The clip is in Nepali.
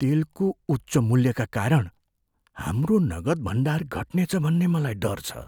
तेलको उच्च मूल्यका कारण हाम्रो नगद भण्डार घट्नेछ भन्ने मलाई डर छ।